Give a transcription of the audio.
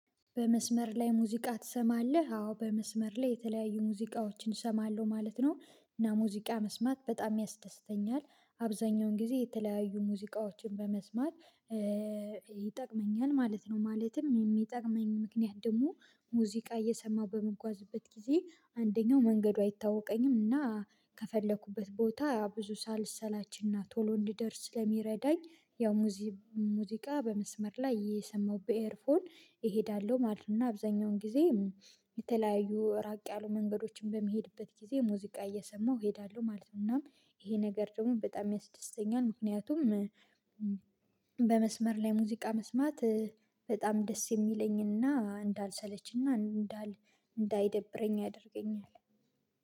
በመስመር ላይ ሙዚቃ ትሰማለህ? አዎ በመስመር ላይ የተለያዩ ሙዚቃዎችን እሰማለሁ ማለት ነው። እና ሙዚቃ መስማት በጣም ያስደስተኛል አብዛኛውን ጊዜ የተለያዩ ሙዚቃዎችን በመስማት። ይጠቅመኛል ማለት ነው። ማለትም የሚጠቅመኝ ምክንያት ደግሞ ሙዚቃ እየሰማሁ በምጓዝበት ጊዜ አንደኛው መንገዱ አይታወቀኝም እና ከፈለኩበት ቦታ ብዙ ሳልሰላችና ቶሎ እንድደርስ ስለሚረዳኝ። ያው ሙዚቃ በመስመር ላይ የሰማሁበት ኤርፎን እሄዳለሁ ማለት ነው። እና አብዛኛውን ጊዜ የተለያዩ ራቅ ያሉ መንገዶችን በሚሄድበት ጊዜ ሙዚቃ እየሰማሁ እሄዳለሁ ማለት ነው። ይሄ ነገር ደግሞ በጣም ያስደስተኛል። ምክንያቱም በመስመር ላይ ሙዚቃ መስማት በጣም ደስ የሚለኝና እንዳይሰለችና እንዳይደብረኝ ያደርገኛል